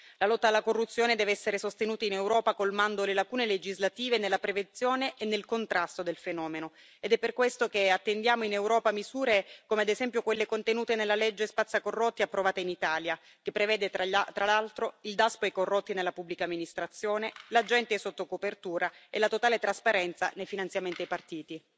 La lotta alla corruzione deve essere sostenuta in Europa colmando le lacune legislative nella prevenzione e nel contrasto del fenomeno ed è per questo che attendiamo in Europa misure come, ad esempio, quelle contenute nella legge spazzacorrotti approvata in Italia, che prevede, tra l'altro, il Daspo ai corrotti nella Pubblica Amministrazione, gli agenti sotto copertura e la totale trasparenza nei finanziamenti ai partiti.